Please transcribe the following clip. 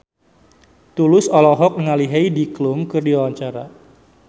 Tulus olohok ningali Heidi Klum keur diwawancara